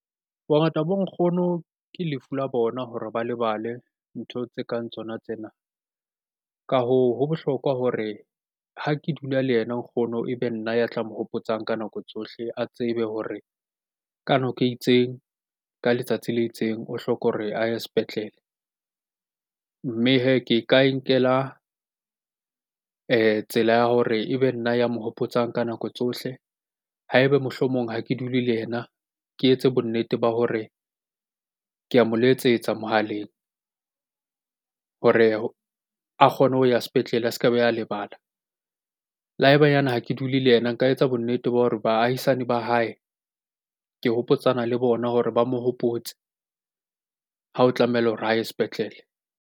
Bongata bo nkgono ke lefu la bona hore ba lebale ntho tse kang tsona tsena. Ka hoo, ho bohlokwa hore ha ke dula le yena nkgono e be nna ya tla mo hopotsang ka nako tsohle. A tsebe hore ka nako e itseng, ka letsatsi le itseng o hloka hore a ye sepetlele. Mme hee ke ka inkela tsela ya hore ebe nna ya mo hopotsa ka nako tsohle. Ha ebe mohlomong ha ke dule le yena, ke etse bonnete ba hore ke a mo letsetsa mohaleng hore a kgone ho ya sepetlele a se ke be a lebala. Le ha ebanyane ha ke dule le yena, nka etsa bonnete ba hore baahisane ba hae ke hopotsana le bona hore ba mo hopotse ha o tlamehile hore a ye sepetlele.